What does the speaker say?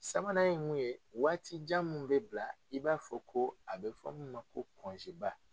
Sabanan ye mun ye, waati jan mun be bila i b'a fɔ ko a bɛ fɔ min ma ko ba.